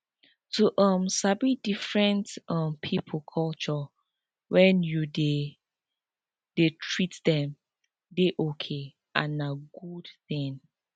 to um sabi different um people culture when you dey you dey treat them dey okay and na very good thing